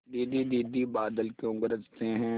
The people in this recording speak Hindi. दीदी दीदी बादल क्यों गरजते हैं